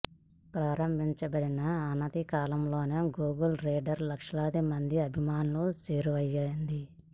ప్రారంభించబడిన అనతి కాలంలోనే గూగుల్ రీడర్ లక్షలాది మంది అభిమానులకు చేరువయ్యింది